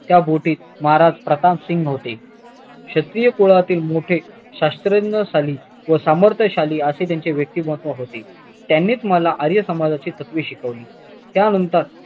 त्या बोटीत महाराज प्रतापसिंग होते श्त्रीकुळातील मोठे शास्त्रज्ञशाली व सामर्त्यशाली असे त्यांचे व्यक्तिमत्व होते त्यांनीच मला आर्य समाजची तत्वे शिकवली त्यानंतर